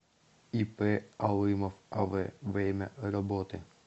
ип алымов ав время работы